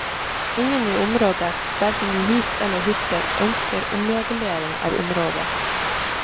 Ingen i området, hverken i hus eller hytter, ønsker omregulering av området.